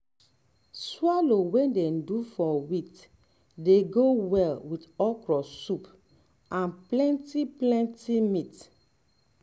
swallow wey dey do from wheat dey go well with okra soup and plenty plenty meat